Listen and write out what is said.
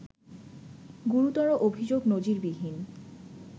গুরুতর অভিযোগ নজিরবিহীন